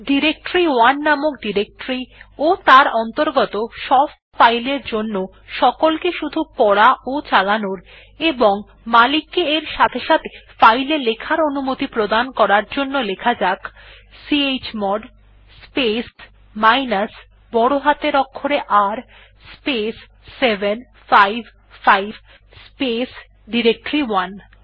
ডিরেক্টরি1 নামক ডিরেকটরি ও তার অন্তর্গত সব ফাইল এর জন্য সকলকে শুধু পড়া ও চালানোর এবং মালিক কে এর সাথে সাথে ফাইল এ লেখার অনুমতি প্রদান করতে লেখা যাক চমোড স্পেস মাইনাস বড় হাতের অক্ষরে R স্পেস 755 স্পেস ডিরেক্টরি1